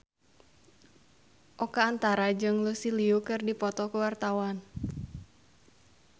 Oka Antara jeung Lucy Liu keur dipoto ku wartawan